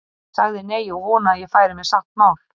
Ég sagði nei, og vonaði að ég færi með satt mál.